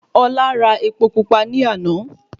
Ọlá ra epo pupa ní àná